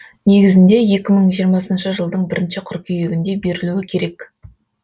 негізінде екі мың жиырмасыншы жылдың бірінші қыркүйегінде берілуі керек